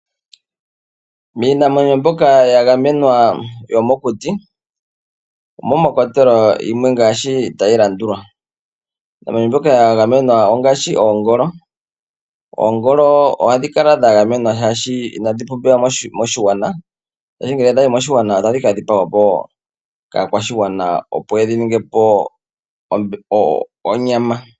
Miinamwenyo mbyoka ya gamenwa yomokuti omo mwa kwatelwa yimwe ngaashi ta yi landula: Iinamwenyo mbyoka ya gamenwa ongaashi Oongolo. Oongolo oha dhi kala dha gamenwa shaashi ina dhi pumbiwa moshigwana, shaashi ngele dha yi moshigwana ota dhi ka dhipagwapo kaakwashigwana opo yedhi ningepo onyama.